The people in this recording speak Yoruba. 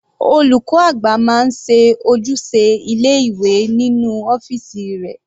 Olùkọ́ àgbà máa ń ṣe ojúṣe ilé ìwé nínú ọ́fìsì rẹ̀.